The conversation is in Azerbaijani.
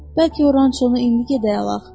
Bəlkə Orançonu indi gedək alaq.